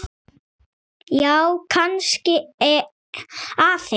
Já, kannski aðeins.